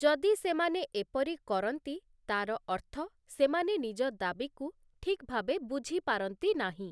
ଯଦି ସେମାନେ ଏପରି କରନ୍ତି, ତା'ର ଅର୍ଥ ସେମାନେ ନିଜ ଦାବିକୁ ଠିକ୍ ଭାବେ ବୁଝିପାରନ୍ତି ନାହିଁ ।